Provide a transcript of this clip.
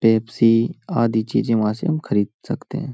Pepsi आदि चीज़ें वहां से हम खरीद सकते हैं ।